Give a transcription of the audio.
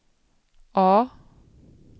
A